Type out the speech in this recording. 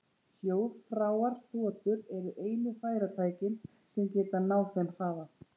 Hljóðfráar þotur eru einu farartækin sem geta náð þeim hraða.